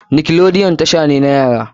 Nickelodeon tasha ne na yara.